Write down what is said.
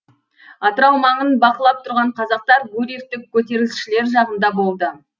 атырау маңын бақылап тұрған қазақтар гурьевтік көтерілісшілер жағында болды